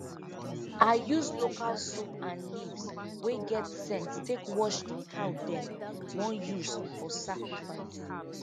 i use local soap and leaves wey get scent take wash the cow dem wan use for sacrifice